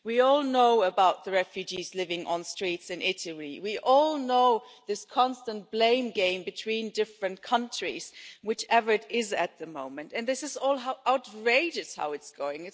We all know about the refugees living on the streets in Italy. We all know this constant blame game between different countries whichever it is at the moment and it is outrageous how this is going.